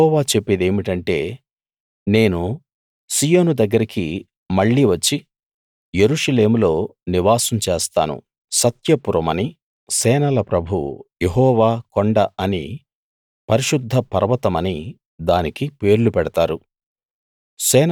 యెహోవా చెప్పేదేమిటంటే నేను సీయోను దగ్గరికి మళ్ళీ వచ్చి యెరూషలేములో నివాసం చేస్తాను సత్య పురమనీ సేనల ప్రభువు యెహోవా కొండ అనీ పరిశుద్ధ పర్వతమనీ దానికి పేర్లు పెడతారు